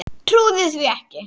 Trúði því ekki.